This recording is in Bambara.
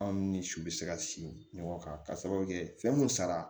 Anw ni su bɛ se ka si ɲɔgɔn kan k'a sababu kɛ fɛn mun sara